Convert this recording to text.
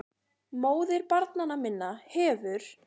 MÓÐIR BARNANNA MINNA HEFUR